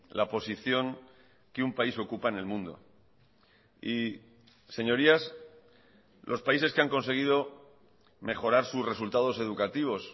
la posición que un país ocupa en el mundo y señorías los países que han conseguido mejorar sus resultados educativos